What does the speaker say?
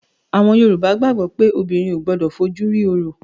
Àwọn Yorùbá gbàgbó pé obìnrin ò gbọ́dọ̀ fojú rí òrò